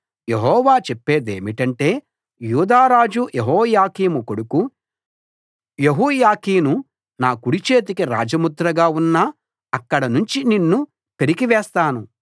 యెహోవా చెప్పేదేమిటంటే యూదా రాజు యెహోయాకీము కొడుకు యెహోయాకీను నా కుడి చేతికి రాజముద్రగా ఉన్నా అక్కడ నుంచి నిన్ను పెరికివేస్తాను